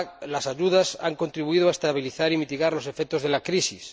Las ayudas han contribuido a estabilizar y mitigar los efectos de la crisis.